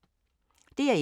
DR1